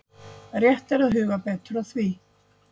Rétt er að huga betur að því.